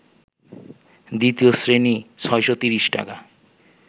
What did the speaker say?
দ্বিতীয় শ্রেণী ৬৩০ টাকা